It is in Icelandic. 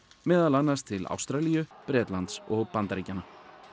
meðal annars til Ástralíu Bretlands og Bandaríkjanna